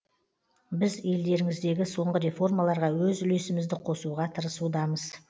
біз елдеріңіздегі соңғы реформаларға өз үлесімізді қосуға тырысудамыз